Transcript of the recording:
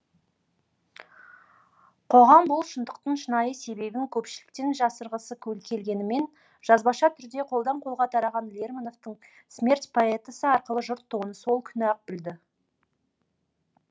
қоғам бұл шындықтың шынайы себебін көпшіліктен жасырғысы келгенімен жазбаша түрде қолдан қолға тараған лермонтовтың смерть поэтасы арқылы жұрт оны сол күні ақ білді